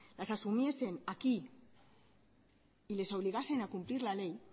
las asumiesen aquí y les obligasen a cumplir la ley